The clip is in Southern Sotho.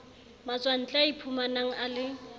matswantle a iphumanang a le